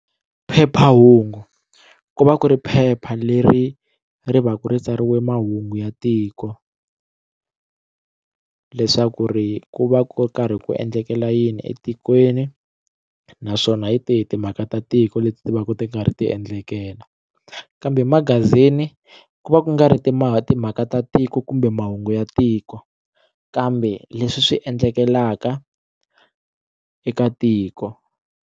Phephahungu ku va ku ri phepha leri ri va ku ri tsariwe mahungu ya tiko leswaku ri ku va ku karhi ku endlekela yini etikweni naswona hi tihi timhaka ta tiko leti ti va ti karhi ti endlekela kambe magazini ku va ku nga ri timhaka timhaka ta tiko kumbe mahungu ya tiko kambe leswi swi endlekelaka eka tiko.